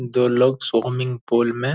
दो लोग swimming pool में --